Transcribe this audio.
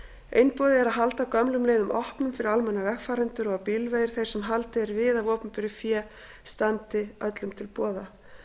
einboðið er að halda gömlum leiðum opnum fyrir almenna vegfarendur og að bílvegir þeir sem haldið er við af opinberu fé standi öllum til boða